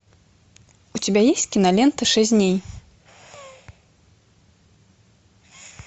у тебя есть кинолента шесть дней